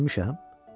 Mən ölmüşəm?